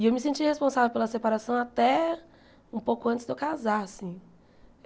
E eu me senti responsável pela separação até um pouco antes de eu casar assim.